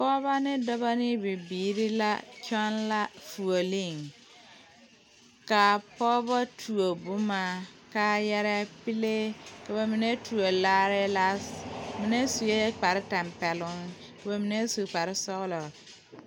Pɔgeba ne dɔbɔ ne bibiiri la kyɛ la fuuli ka a pɔgeba tuo boma kaayare pilee ka ba mine tuo laare mine sue kpare tempɛloŋ ka ba mine su kpare sɔglɔ.